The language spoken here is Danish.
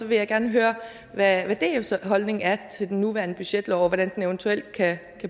vil jeg gerne høre hvad dfs holdning er til den nuværende budgetlov og hvordan den eventuelt kan